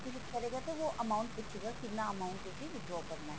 click ਕਰੋਗੇ ਤਾਂ ਉਹ amount ਪੁੱਛੇਗਾ ਕਿੰਨਾ amount ਤੁਸੀਂ withdraw ਕਰਨਾ ਹੈ